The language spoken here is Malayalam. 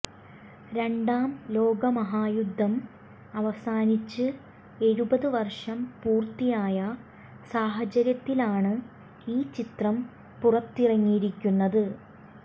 രണ്ടാം ലോകമഹായുദ്ധം അവസാനിച്ച് എഴുപത് വര്ഷം പൂര്ത്തിയായ സാഹചര്യത്തിലാണ് ഈ ചിത്രം പുറത്തിറങ്ങിയിരിക്കുന്നത്